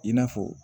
I n'a fɔ